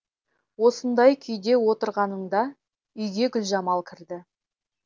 осындай күйде отырғанында үйге гүлжамал кірді